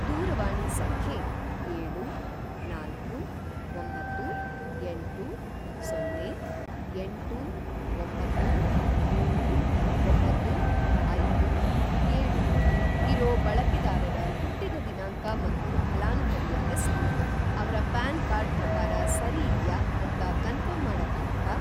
ದೂರವಾಣಿ ಸಂಖ್ಯೆ ಏಳು, ನಾಲ್ಕು, ಒಂಬತ್ತು, ಎಂಟು, ಸೊನ್ನೆ, ಎಂಟು, ಒಂಬತ್ತು, ಮೂರು, ಒಂಬತ್ತು, ಐದು, ಏಳು ಇರೋ ಬಳಕೆದಾರರ ಹುಟ್ಟಿದ ದಿನಾಂಕ ಮತ್ತು ಫಲಾನುಭವಿಯ ಹೆಸ್ರು ಅವ್ರ ಪ್ಯಾನ್‌ ಕಾರ್ಡ್ ಪ್ರಕಾರ ಸರಿಯಿದ್ಯಾ ಅಂತ ಕನ್ಫರ್ಮ್‌ ಮಾಡಕ್ಕಾಗತ್ತಾ?